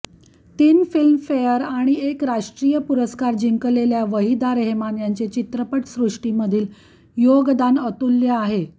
तीन फिल्मफेअर आणि एक राष्ट्रीय पुरस्कार जिंकलेल्या वहिदा रेहमान यांचे चित्रपटसृष्टी मधील यीग्दन अतुल्य आहे